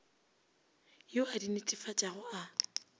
yo a di netefatšago a